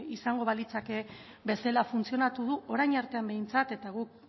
izango balitz bezala funtzionatu du orain arte behintzat eta guk